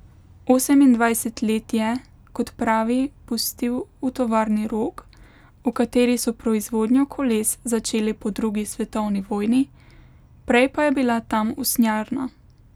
Osemindvajset let je, kot pravi, pustil v tovarni Rog, v kateri so proizvodnjo koles začeli po drugi svetovni vojni, prej pa je bila tam usnjarna.